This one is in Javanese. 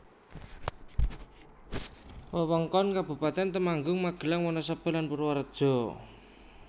Wewengkon Kabupatèn Temanggung Magelang Wonosobo lan Purworejo